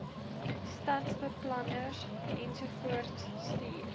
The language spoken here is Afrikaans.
stadsbeplanners ensovoorts stuur